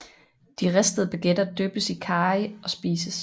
De ristede baguetter dyppes i karry og spises